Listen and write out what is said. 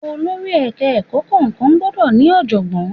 Olórí Ẹ̀ka ẹ̀kọ́ kọ̀ọ̀kan gbọ́dọ̀ ní ọ̀jọ̀gbọ́n.